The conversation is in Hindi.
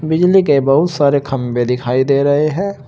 बिजली के बहोत सारे खंभे दिखाई दे रहे हैं।